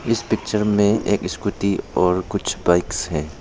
इस पिक्चर में एक स्कूटी और कुछ बाइक्स है।